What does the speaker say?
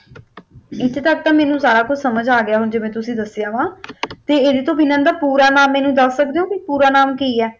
ਇਥੇ ਤਕ ਤਾ ਮੈਨੂੰਸਭ ਕੁੱਛ ਸਮਝ ਆ ਗਿਆ ਹੈ ਜਿਵੇ ਤੁਸੀਂ ਦਸਿਆ ਵਾ ਤੇ ਏਦੇ ਤੋਂ ਬਿਨਾ ਦਾ ਪੂਰਾ ਨਾਮ ਮੈਨੂੰ ਦਸ ਸਕਦੇ ਓ ਵੀ ਪੂਰਾ ਨਾਮ ਕਿ ਏ